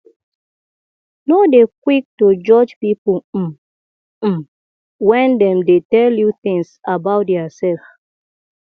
no dey quick to judge pipo um um when dem dey tell you things about their self